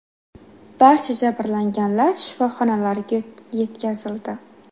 Barcha jabrlanganlar shifoxonalarga yetkazildi.